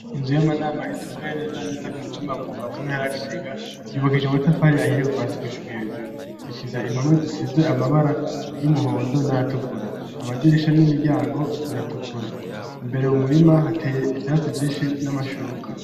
Inzu y'amanama itumbeye neza neza kumutumba mumba muntu yaragitega yubakije amatafari ahiye guvasi gushika hejuru ifise impome zisize amabara y'umuhondo n'ayatukura amadirisha n'imiryango biratukura imbere mu murima hateye ivyatsi vyinshi n'amashurwe.